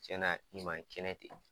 Cɛn na i man kɛnɛ ten.